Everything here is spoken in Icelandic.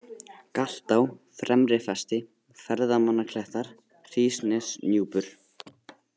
Galtá, Fremrifesti, Ferðamannaklettar, Hrísnesnúpur